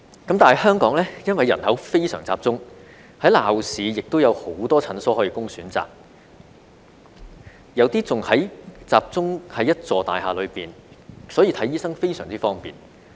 但是，香港因為人口非常集中，在鬧市亦有很多診所供選擇，有些更集中在一座大廈內，所以看醫生非常方便。